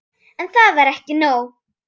En það var ekki nóg.